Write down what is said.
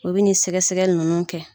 U bɛ nin sɛgɛ sɛgɛli ninnu kɛ.